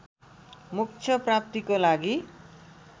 मोक्ष प्राप्तिको लागि